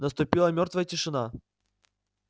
наступила мёртвая тишина